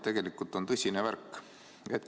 Tegelikult on tõsine lugu.